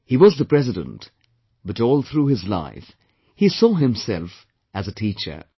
He was the President, but all through his life, he saw himself as a teacher